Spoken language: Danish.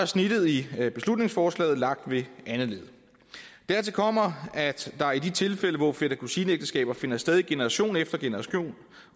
snittet i beslutningsforslaget lagt ved andet led dertil kommer at der i de tilfælde hvor fætter kusine ægteskaber finder sted i generation efter generation